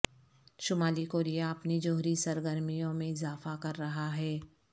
شمالی کوریا اپنی جوہری سرگرمیوں میں اضافہ کر رہا ہے